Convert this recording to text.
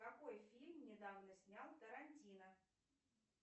какой фильм недавно снял тарантино